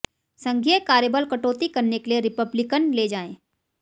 संघीय कार्यबल कटौती करने के लिए रिपब्लिकन ले जाएँ